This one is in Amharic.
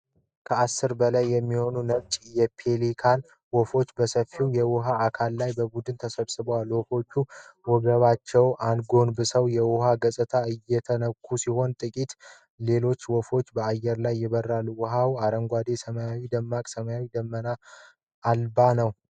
ከአሥር በላይ የሚሆኑ ነጭ የፔሊካን ወፎች በሰፊው የውሃ አካል ላይ በቡድን ተሰብስበዋል። ወፎቹ ወገባቸውን አጎንብሰው የውሃውን ገጽታ እየነኩ ሲሆን፣ ጥቂት ሌሎች ወፎች በአየር ላይ ይበራሉ። ውሃው የአረንጓዴና ፣ ሰማዩ ደማቅ ሰማያዊና ደመና አልባ ነው።